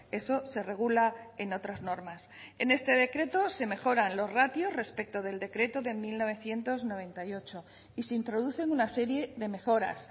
eso se regula en otras normas en este decreto se mejoran los ratios respecto del decreto de mil novecientos noventa y ocho y se introducen una serie de mejoras